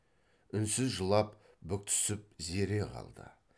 үнсіз жылап бүктүсіп зере қалды